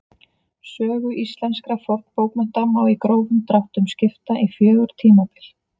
Sögu íslenskra fornbókmennta má í grófum dráttum skipta í fjögur tímabil.